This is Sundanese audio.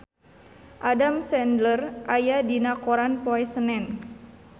Adam Sandler aya dina koran poe Senen